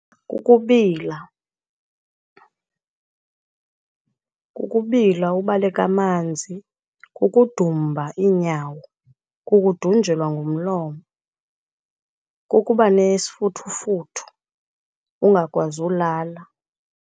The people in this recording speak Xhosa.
Kukubila kukubila ubaleka amanzi, kukudumba iinyawo, kukudunjelwa ngumlomo, kukuba nesifuthufuthu, ungakwazi ulala.